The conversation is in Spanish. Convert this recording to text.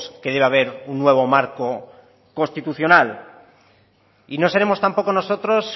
que debe haber un nuevo marco constitucional y no seremos tampoco nosotros